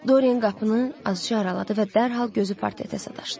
Doren qapını azca araladı və dərhal gözü partdadə daşdı.